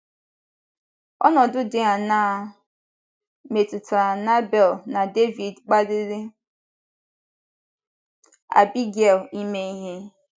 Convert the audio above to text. Ọnọdụ dị aṅaa a, metụtara Nebal na Devid kpaliri Abigail ime ihe?